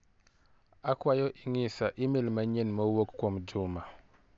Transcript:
Akwayo ing'isa imel manyien ma owuok kuom Juma.